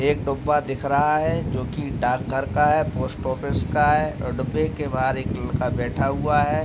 एक डब्बा दिख रहा है जोकि डाक घर का है पोस्ट ऑफिस का है। डब्बे के बहार एक लड़का बैठा हुआ है।